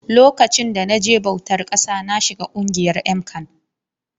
Lokacin da na je bautar ƙasa na shiga ƙungiyar MCAN